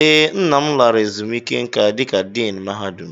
Ee, nna lara ezumiike nka dika Diin mahadum.